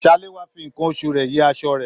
Salewa fí nkán oṣù rẹ yìí aṣọ rẹ.